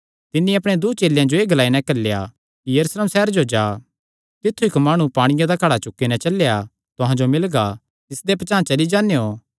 तिन्नी अपणे दूँ चेलेयां जो एह़ ग्लाई नैं घल्लेया कि सैहरे जो जा कने इक्क माणु पांणिये दा घड़ा लेई नैं चलेया तुहां जो मिलगा तिसदे पचांह़ चली जान्नेयों